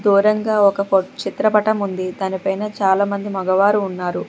దూరంగా ఒక చిత్రపటం ఉంది దానిపైన చాలామంది మగవారు ఉన్నారు.